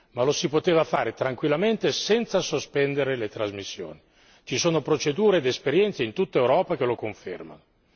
ma lo si poteva fare tranquillamente senza sospendere le trasmissioni, ci sono procedure ed esperienze in tutta Europa che lo confermano.